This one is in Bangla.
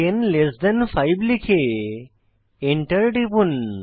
10 লেস থান 5 লিখে এন্টার টিপুন